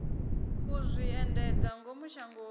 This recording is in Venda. u zwi endedza ngomu shangoni